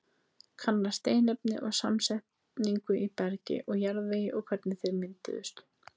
Kanna steinefni og samsetningu í bergi og jarðvegi og hvernig þeir mynduðust.